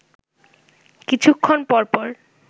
কিছুক্ষণ পরপর